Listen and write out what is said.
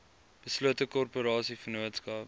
beslote korporasie vennootskap